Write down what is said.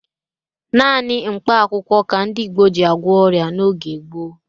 Naanị mkpakwụkwọ ka ndị Igbo ji agwọ ọrịa n'oge gboo.